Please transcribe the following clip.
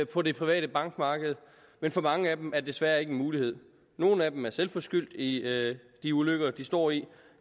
på det private bankmarked men for mange af dem er det desværre ikke en mulighed nogle af dem er selv skyld i de ulykker de står i